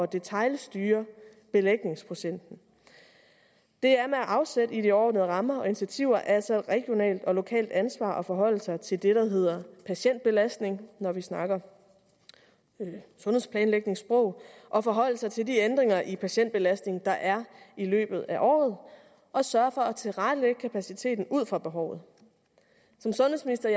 detailstyre belægningsprocenten det er med afsæt i de overordnede rammer og initiativer altså et regionalt og lokalt ansvar at forholde sig til det der hedder patientbelastning når vi snakker sundhedsplanlægningssprog at forholde sig til de ændringer i patientbelastning der er i løbet af året og sørge for at tilrettelægge kapaciteten ud fra behovet som sundhedsminister